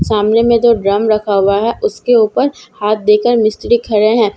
सामने में जो ड्रम रखा हुआ है उसके ऊपर हाथ देकर मिस्त्री खड़े हैं जैसे --